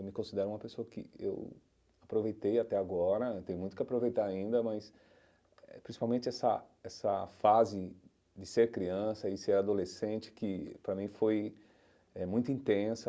Eu me considero uma pessoa que eu aproveitei até agora, tenho muito o que aproveitar ainda, mas eh principalmente essa essa fase de ser criança e ser adolescente, que para mim foi eh muito intensa.